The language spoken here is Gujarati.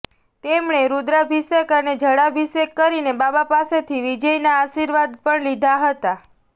તેમણે રૂદ્રાભિષેક અને જળાભિષેક કરીને બાબા પાસેથી વિજયના આશીર્વાદ પણ લીધા હતા